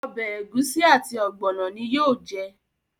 Obè egusi àti ogbono ní yóò jẹ.